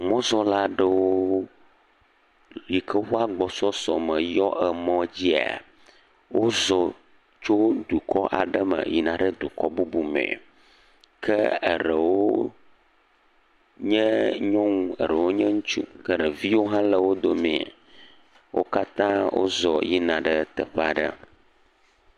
Mɔzɔla aɖewo yike ƒe woƒe agbɔsɔsɔ me yɔ emɔ dzia. Wozɔ tso dukɔ aɖe me yina dukɔ bubu me, ke ɖewo nye nyɔnu, eɖewo nye ŋutsu, ke eɖeviwo hã le wo dome. Wo katã wozɔ yina ɖe teƒe aɖe.